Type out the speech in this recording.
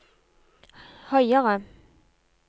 høyere